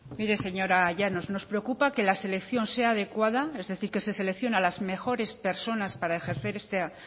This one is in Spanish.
mire señora llanos nos preocupa que la selección sea adecuada es decir que se selecciona a las mejores personas para ejercer esta